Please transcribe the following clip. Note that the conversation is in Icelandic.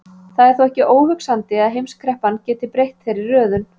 Það er þó ekki óhugsandi að heimskreppan geti breytt þeirri röðun.